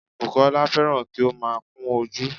Bùkọ́lá fẹ́ràn kí ó má a kun ojú